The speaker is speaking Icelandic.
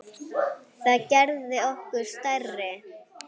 Það gerði okkur stærri.